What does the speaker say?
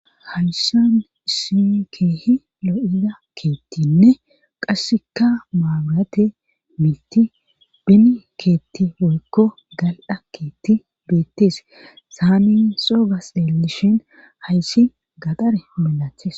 Hayssan issin keehi lo7ida keettinne qasseka maaburate miiti beni keetti woykko galda keetti beettees saami soo gas dellishin hayssi gadare milaches.